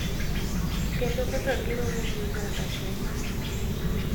Kendo kaka giromo gi oganda Kenya.